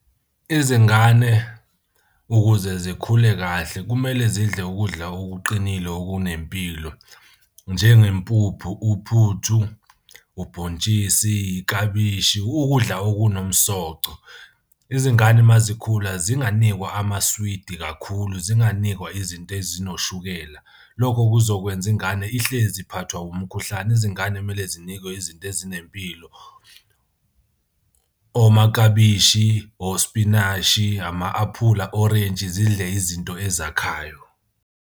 Izingane ukuze zikhule kahle kumele zidle ukudla okuqinile okunempilo njengempuphu uphuthu, ubhontshisi, iklabishi, ukudla okunomsoco. Izingane uma zikhula zinganikwa amaswidi kakhulu, zinganikwa izinto ezinoshukela. Lokho kuzokwenza ingane ihlezi iphathwa umkhuhlane. Izingane kumele zinikwe izinto ezinempilo. Omaklabishi, osipinashi, ama-apula, orentshi, zidle izinto ezakhayo.